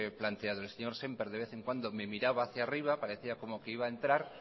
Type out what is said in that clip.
planteado el señor semper de vez en cuando me miraba hacia arriba parecía como que iba a entrar